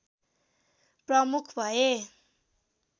प्रमुख भए